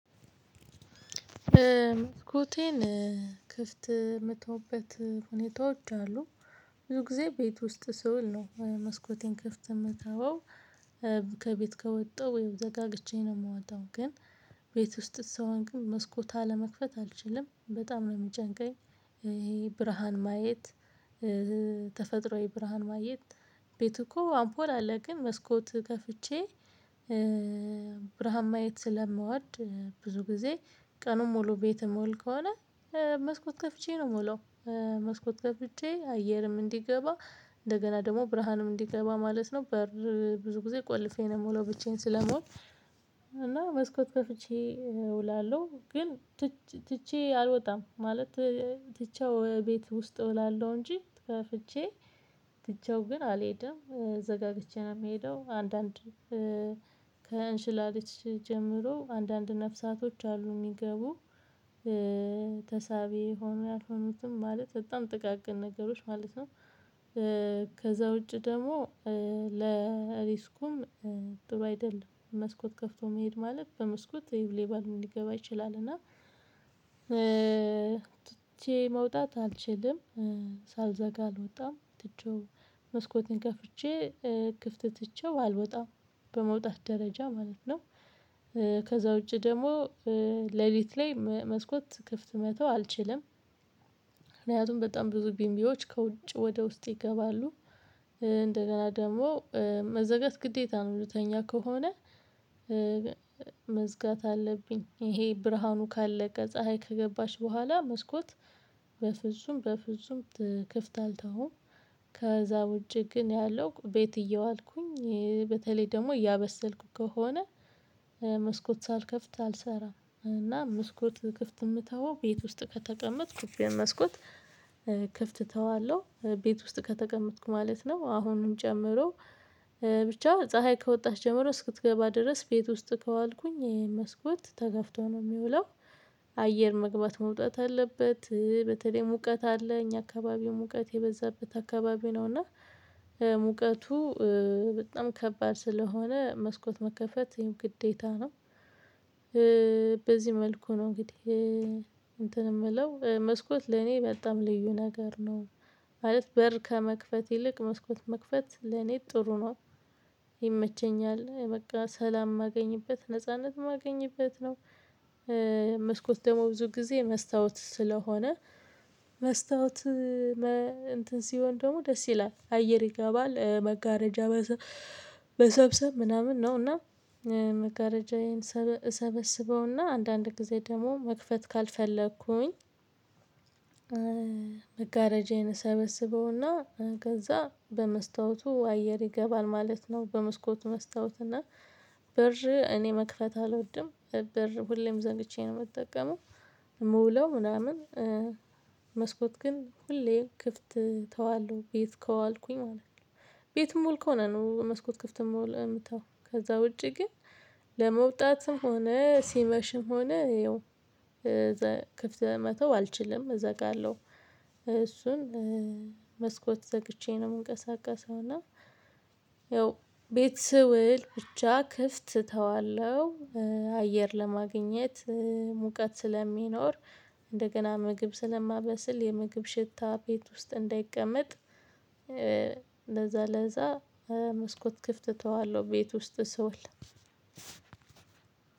መስኮቴን ክፍት የምተውበት ሁኔታዎች አሉ። ብዙ ጊዜ ቤት ውስጥ ስውል ነው መስኮቴን ክፍት የምተወው። ከቤት ከወጣሁ ወይም ዘጋግቼ ነው የምወጣው ግን ቤት ውስጥ ስሆን ግን መስኮት አለመክፈት አልችልም በጣም ነው የሚጨንቀኝ። ይሄ ብርሃን ማየት ተፈጥሮአዊ ብርሃን ማየት ቤት እኮ አምፖል አለ ግን መስኮት ከፍቼ ብርሃን ማየት ስለምወድ። ብዙ ጊዜ ቀኑን ሙሉ ቤት ምውል ከሆነ መስኮት ከፍቼ ነው ምውለው። መስኮት ከፍቼ አየርም እንዲገባ እንደገና ደግሞ ብርሃንም እንዲገባ ማለት ነው። በር ብዙ ጊዜ ቆልፌ ነው የምለው ብቻዬን ስለምውል። እና መስኮት ከፍቼ እውላለሁ ግን ትቼ አልወጣም ማለት ትቼው ቤት ውስጥ እውላለሁ እንጂ ከፍቼ ትቼው ግን አልሄድም ዘጋግቼ ነው የምሄደው። አንዳንድ ከእንሽላሊት ጀምሮ አንዳንድ ነፍሳቶች አሉ የሚገቡ ተሳቢ ሆኖ ያልሆኑትም ማለት በጣም ጥቃቅን ነገሮች ማለት ነው። ከዛ ውጪ ደግሞ ለሪስኩም ጥሩ አይደለም። መስኮት ከፍቶ መሄድ ማለት በመስኮት ሌባን ሊገባ ይችላል። እና ትቼ መውጣት አልችልም ሳልዘጋ አልወጣም ትቼው መስኮትን ከፍቼ ክፍት ትቼው አልወጣም በመውጣት ደረጃ ማለት ነው። ከዛ ውጪ ደግሞ ሌሊት ላይ መስኮት ክፍት መተው አልችልም። ምክንያቱም በጣም ብዙ ቢምቢዎች ከውጭ ወደ ውስጥ ይገባሉ። እንደገና ደግሞ መዘጋት ግዴታ ነው የምተኛ ከሆነ። መዝጋት አለብኝ ይሄ ብርሃኑ ካለቀ ፀሀይ ከገባች በኋላ መስኮት በፍጹም ክፍት አልተውም። ከዛ ውጪ ግን ያለው ቤት እየዋልኩኝ በተለይ ደግሞ እያበሰልኩ ከሆነ መስኮት ሳልከፍት አልሰራም። እና መስኮት ክፍት የምተወው ቤት ውስጥ ከተቀመጥኩ ክፍት ክፍት ተዋለሁ ቤት ውስጥ ከተቀመጥኩ ማለት ነው። አሁንም ጨምሮ ብቻ ፀሀይ ከወጣሽ ጀምሮ እስክትገባ ድረስ ቤት ውስጥ ከዋልኩኝ መስኮት ተከፍቶ ነው የሚውለው። አየር መግባት መውጣት አለበት በተለይም ሙቀት አለ እኛ አከባቢው ሙቀት የበዛበት አካባቢ ነው እና ሙቀቱ በጣም ከባድ ስለሆነ መስኮት መከፈት ግዴታ ነው። በዚህ መልኩ ነው እንግዲህ እንትን የምለው መስኮት ለኔ በጣም ልዩ ነገር ነው። ማለት በር ከመክፈት ይልቅ መስኮት መክፈት ለኔ ጥሩ ነው። ይመቸኛል በቃ ሰላም ማገኝበት ነጻነት ማገኝበት ነው። መስኮት ደግሞ ብዙ ጊዜ መስታወት ስለሆነ መስታወት እንትን ሲሆን ደግሞ ደስ ይላል አየር ይገባል መጋረጃ መሰብሰብ ምናምን ነው። እና መገረጃዬን ሰበስበውና አንዳንድ ጊዜ ደግሞ መክፈት ካልፈለኩኝ መጋረጃዬን ሰበስበውና ከዛ በመስታወቱ አየር ይገባል ማለት ነው። በመስኮት መስታወትና በር እኔ መክፈት አልወድም። በር ሁሌም ዘግቼ ነው የምጠቀመው። የምውለው ምናምን መስኮት ግን ሁሌ ክፍት ተዋለሁ ቤት ከዋልኩኝ ማለት ነው። ቤትም ምውል ከሆነ ነው መስኮት ክፍት የምተወው ከዛ ውጪ ግን ለመውጣትም ሆነ ሲመሽም ሆነ ያው ክፍት መተው አልችልም እዛ ጋር አለው። እሱን መስኮት ዘግቼ ነው የምንቀሳቀሰው። እና ያው ቤት ስውል ብቻ ክፍት እተዋለሁ። አየር ለማግኘት ሙቀት ስለሚኖር እንደገና ምግብ ስለማበስል የምግብ ሽታ ቤት ውስጥ እንዳይቀመጥ። ለዛ ለዛ መስኮት ክፍት እተዋለሁ ቤት ውስጥ ስውል።